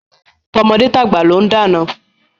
Tọmọdé tàgbà ló ń dáná.